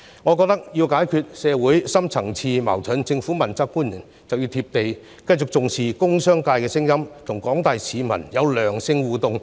我認為要解決社會深層次矛盾，政府問責官員需要"貼地"，繼續聽取工商界的聲音，與廣大市民保持良性互動。